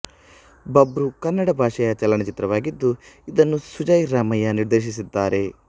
ಬಾಬ್ರು ಕನ್ನಡ ಭಾಷೆಯ ಚಲನಚಿತ್ರವಾಗಿದ್ದು ಇದನ್ನು ಸುಜಯ್ ರಾಮಯ್ಯ ನಿರ್ದೇಶಿಸಿದ್ದಾರೆ